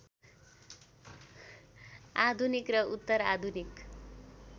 आधुनिक र उत्तरआधुनिक